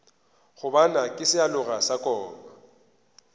gobane ke sealoga sa koma